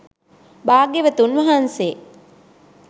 භාග්‍යවතුන් වහන්සේ